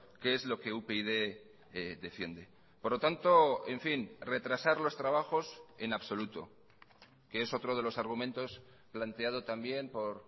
qué es lo que upyd defiende por lo tanto en fin retrasar los trabajos en absoluto que es otro de los argumentos planteado también por